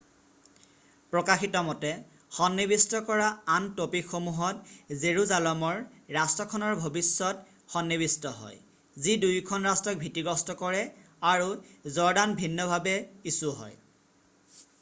প্ৰকাশিত মতে সন্নিৱিষ্ট কৰা আন ট'পিকসমূহত জেৰুজালমৰ ৰাষ্ট্ৰখনৰ ভৱিষয্যত সনি্নিৱিষ্ট হয় যি দুয়োখন ৰাষ্ট্ৰক ভিতীগ্ৰস্ত কৰে আৰু জৰ্ডান ভিন্নভাৱে ইছু হয়৷